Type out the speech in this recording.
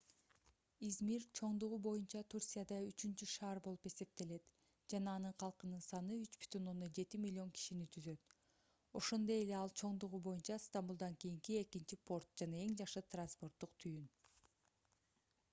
измир чоңдугу боюнча турцияда үчүнчү шаар болуп эсептелет жана анын калкынын саны 3,7 миллион кишини түзөт ошондой эле ал чоңдугу боюнча стамбулдан кийинки экинчи порт жана эң жакшы транспорттук түйүн